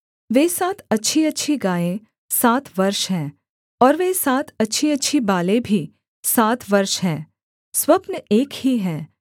वे सात अच्छीअच्छी गायें सात वर्ष हैं और वे सात अच्छीअच्छी बालें भी सात वर्ष हैं स्वप्न एक ही है